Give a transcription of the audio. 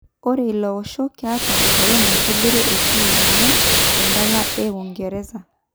Ore ilo osho ketaa egolon naitobirie enteam enye tendala e Uingereza.